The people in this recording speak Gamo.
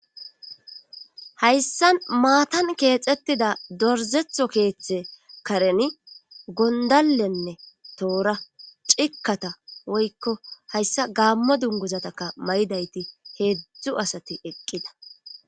hayssa maatan keexettida dorzetho keeththe kareni gondallenne toora cikkata woykko hayssa gaammo dunguzataka may7idayti heedzdzu asati eqqida